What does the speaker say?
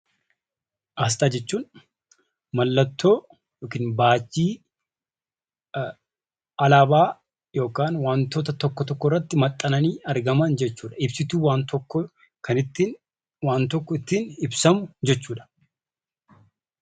Aasxaa jechuun mallattoo yookiin baajjii alaabaa yookiin wantoota tokko tokko irratti maxxananii argaman jechuudha. Innis ibsituu waan tokkoo kan ittiin waan tokko ibsan jechuudha.